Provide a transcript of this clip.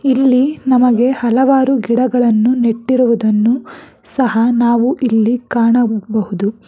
ಇಲ್ಲಿ ನಮಗೆ ಹಲವಾರು ಗಿಡಗಳನ್ನು ನೆಟ್ಟಿರುವುದನ್ನು ಸಹ ನಾವು ಇಲ್ಲಿ ಕಾಣಬಹುದು.